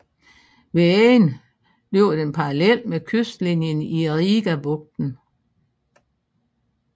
Ved enden løber den parallelt med kystlinjen i Rigabugten